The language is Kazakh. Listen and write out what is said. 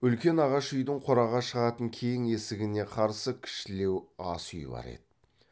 үлкен ағаш үйдің қораға шығатын кең есігіне қарсы кішілеу асүй бар еді